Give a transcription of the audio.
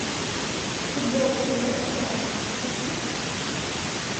футбол лестера с сити